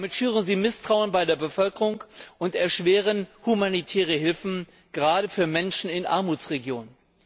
Damit schüren sie Misstrauen bei der Bevölkerung und erschweren humanitäre Hilfe, gerade für Menschen in Armutsregionen.